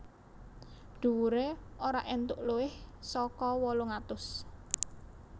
Dhuwuré ora entuk luwih saka wolung atus